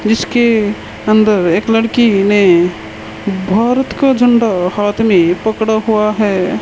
इसके अंदर एक लड़की ने भारत का झंडा हाथ मे पकड़ा हुआ है।